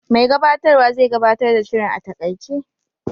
Mai gabatarwa zai gabatar da shirin a taƙaice.